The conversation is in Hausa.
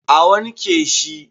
A wanke shi